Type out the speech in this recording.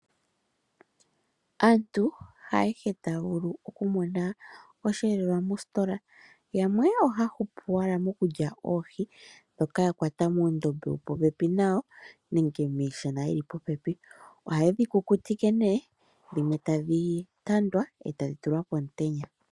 Aantu haayehe taya vulu okumona oshiyelelwa moositola. Yamwe ohaya hupu owala mokulya oohi ndhoka ya kwata muundombe nenge muushana wuli popepi. Ohaye dhi kukutike dhimwe tadhi tandwa e taya tula pomutenya.